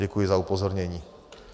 Děkuji za upozornění.